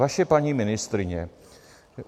Vaše paní ministryně.